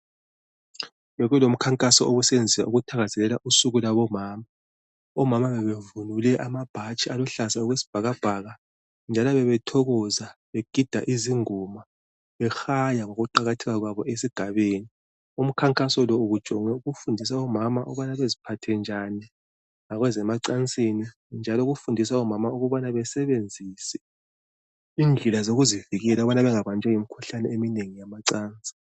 bekulomkhankaso obusesinza ukuthakazelela usuku lwabo mama omama bebevunule amabhatshi aluhlaza okwesibhakabhaka njalo bebethokoza begida izingoma behala ngokuqakatheka kwabo esigabeni umkhankaso lo ubujonge ukufundisa omama ukuba beziphathe njani ngezemacansini njalomukufundisa omama ukubana basebenzise indlela zokuzivikela ukubana bengabanjwa yimikhuhlane eminengi yamacansi